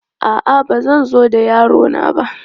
A'a, ba zan zo da yaro na ba.